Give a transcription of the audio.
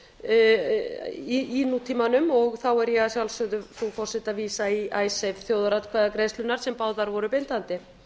þjóðaratkvæðagreiðslur í nútímanum og þá er ég að sjálfsögðu frú forseti að eða í icesave þjóðaratkvæðagreiðslurnar sem báðar voru bindandi